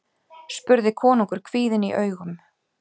spurði konungur kvíðinn í augum.